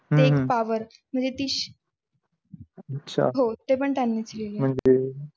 हम्म हम्म एक पावर म्हणजे ती होते पण त्यांनी च लिहिलेली आहे.